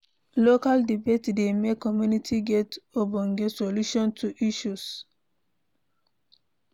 Local debate dey make community get ogbonge solution to isssues